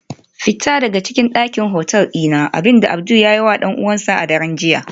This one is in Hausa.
Fita daga dakin hotel dina, abinda Abdul ya yiwa dan uwansa a daren jiya